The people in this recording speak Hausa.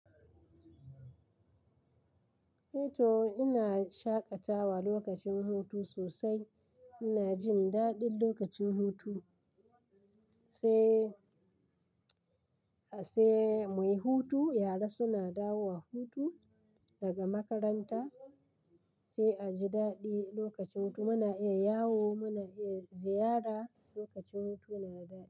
Eh to ina shaƙatawa lokacin hutu sosai. Ina jin daɗin lokacin hutu, sai sai muyi hutu. Yara suna dawowa hutu daga makaranta, sai a ji daɗi lokacin hutu. Muna iya yawo, muna iya ziyara lokacin hutu na daɗi.